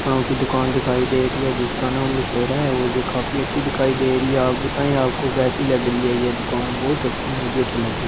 फोनों की दुकान दिखाई दे रही है जिसका नाम लुफेरा है वह यह काफी अच्छी दिखाई दे रही है आप बताएं आपको कैसी लग रही है यह दुकान बहुत अच्छी मुझे तो लगी।